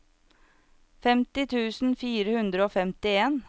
femti tusen fire hundre og femtien